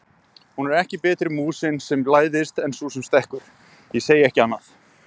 Hún er ekki betri músin sem læðist en sú sem stekkur, ég segi ekki annað!